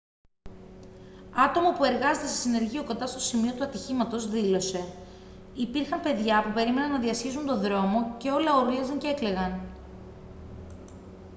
άτομο που εργάζεται σε συνεργείο κοντά στο σημείο του ατυχήματος δήλωσε: «υπήρχαν παιδιά που περίμεναν να διασχίσουν τον δρόμο και όλα ούρλιαζαν και έκλαιγαν